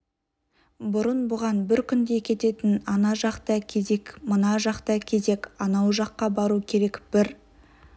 бұрын бұған бір күндей кететін ана жақта кезек мына жақта кезек анау жаққа бару керек бір